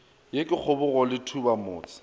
yo ke kgobogo le thubamotse